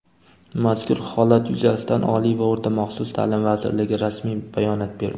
Mazkur holat yuzasidan Oliy va o‘rta-maxsus ta’lim vazirligi rasmiy bayonot berdi.